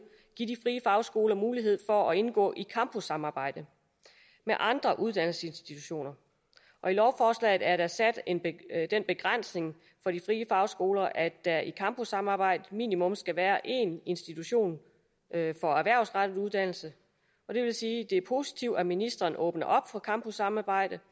give de fagskoler mulighed for at indgå i campussamarbejde med andre uddannelsesinstitutioner og i lovforslaget er der sat den begrænsning på de frie fagskoler at der i campussamarbejde minimum skal være en institution for erhvervsrettet uddannelse det er positivt at ministeren åbner op for campussamarbejde